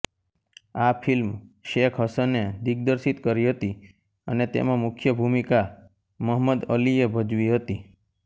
આ ફીલ્મ શેખ હસને દિગ્દર્શિત કરી હતી અને તેમાં મુખ્ય ભૂમિકા મહમદ અલીએ ભજવી હતી